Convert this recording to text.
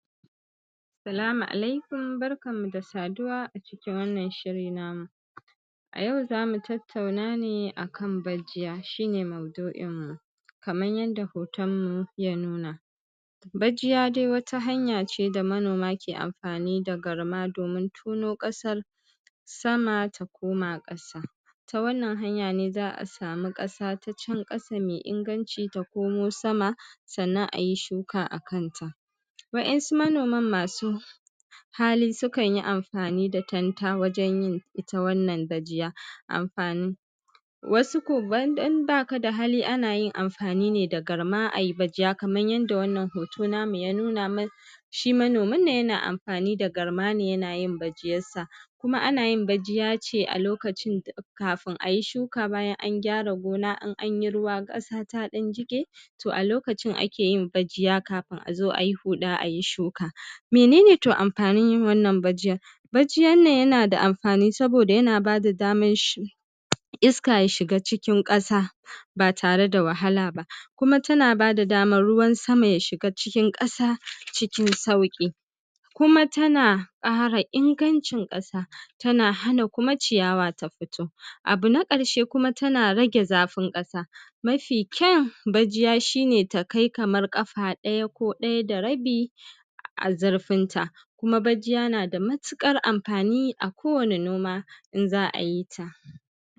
Sa salamu alaikum, barkanmu da saduwa a ciki wannan shiri namu. A yau za mu tatawna ne a kan bajiya, shi ne ma'uɗu'in namu. Kaman yanda hotonmu ya nuna, bajiya dai wata hanya ce da manoma ke amfani da garma domin tono ƙasan sama ta koma ƙasa. Ta wannan hanyan ne za a samu ƙasa ta can ƙasa mai iŋganci ta koma sama. Sannan a yi shuka a kanta. Waɗansu manoman masu hali su ka yi amfani da kanta wajen yin ita wannan bajiya. Amfani, wasu ko in baka da hali, ana yin amfani ne da garma. Ai bajiya, kaman yanda wannan hoto namu ya nuna mana, shi manomi-nan yana amfani da garma ne yana yin bajiyansa. Kuma ana yin bajiya ne a lokacin da kafun a yi shuka, bayan an gyara wuri, an yi ruwa, ƙasa ta ɗan jiƙe. To, a lokacin ake yin bajiya kafun a zo a yi huɗa, a yi shuka. To, mene ne amfanin to yin wannan bajiyan? Bajiyan nan yana da amfani, saboda yana bada daman iska ya shiga cikin ƙasa ba tare da wahala ba. Kuma tana bada daman ruwan sama ya shiga cikin ƙasa cikin sauƙi. Kuma tana ƙara iŋgancin ƙasa, tana hana kuma ciyawa ta fito. Abu na ƙarshe kuma tana rage zafin ƙasa. Mafi kyan bajiya shi ne ta kai kaman ƙafa ɗaya ko ɗaya da rabi a zurfin ta. Kuma bajiya na da matuƙar amfani a kowani noma in za a yi ta.